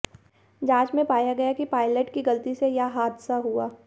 जांच में पाया गया कि पायलट की गलती से यह हादसा हुआ